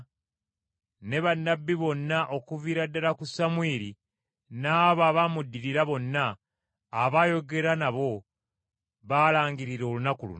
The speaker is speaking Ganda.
“Ne bannabbi bonna okuviira ddala ku Samwiri n’abo abaamuddirira bonna abaayogera nabo baalangirira olunaku luno.